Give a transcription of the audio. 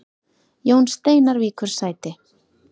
Jón Steinar víkur sæti